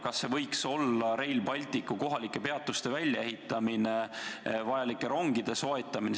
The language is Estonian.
Kas see võiks olla Rail Balticu kohalike peatuste välja ehitamine, vajalike rongide soetamine?